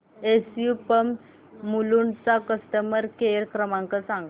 SU pumps Mulund चा customer care क्रमांक सांगा